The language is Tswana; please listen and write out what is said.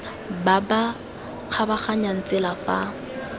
ba ba kgabaganyang tsela fa